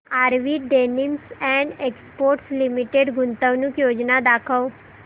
RV denims and exports limited गुंतवणूक योजना दाखव